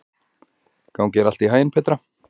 Gangi þér allt í haginn, Petra.